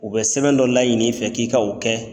U bɛ sɛbɛn dɔ laɲini i fɛ k'i ka o kɛ